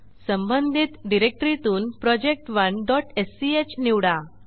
संबंधित डिरेक्टरीतून project1स्क निवडा